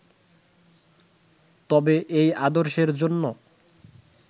তবে এই আদর্শের জন্য